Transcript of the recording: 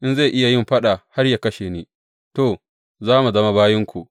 In zai iya yin faɗa har yă kashe ni, to, za mu zama bayinku.